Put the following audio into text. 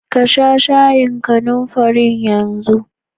Kasha shayin kanumfarin yanzu!